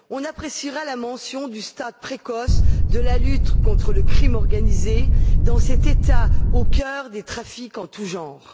Nous apprécierons la mention de stade précoce de la lutte contre le crime organisé, dans cet État au cœur de trafics en tous genres.